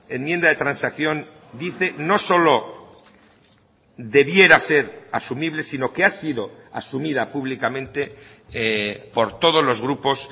enmienda de transacción dice no solo debiera ser asumible sino que ha sido asumida públicamente por todos los grupos